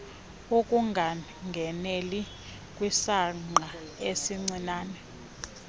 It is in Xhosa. ukungangeneli kwisangqa esincinane